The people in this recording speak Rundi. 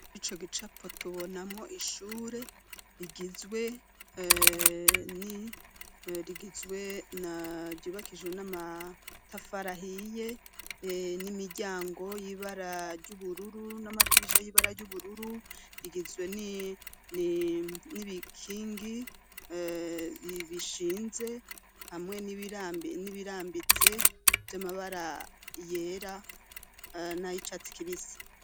Ri co gicapo tubonamwo ishure rigizwe nirigizwe na ryubakijwe n'amatafarahiye n'imiryango y'ibara ry'ubururu n'amadirisha y'ibara ry'ubururu rigizwe n'ibikingi ibishinze hamwe n'ibirambitse vy'amabara yera nayo icatsi kibisi.